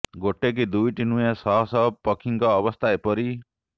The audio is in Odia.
ଗୋଟେ କି ଦୁଇଟି ନୁହେଁ ଶହ ଶହ ପକ୍ଷୀଙ୍କ ଅବସ୍ଥା ଏପରି